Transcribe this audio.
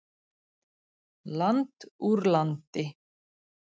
Land úr landi.